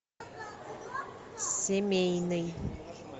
семейный